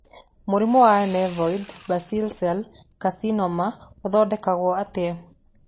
Mũrimũ wa Nevoid basal cell carcinoma ũngĩthondekwo atĩa?